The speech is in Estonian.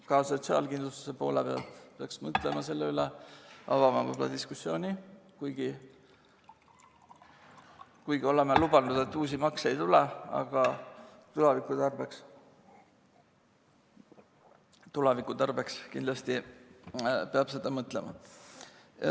Ka sotsiaalkindlustuse poole pealt peaks selle üle mõtlema, avama diskussiooni, kuigi oleme lubanud, et uusi makse ei tule, aga tuleviku tarbeks kindlasti peab selle peale mõtlema.